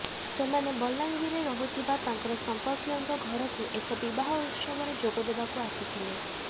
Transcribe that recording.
ସେମାନେ ବଲାଙ୍ଗିରରେ ରହୁଥିବା ତାଙ୍କର ସଂପର୍କୀୟଙ୍କ ଘରକୁ ଏକ ବିବାହ ଉତ୍ସବରେ ଯୋଗଦେବାକୁ ଆସିଥିଲେ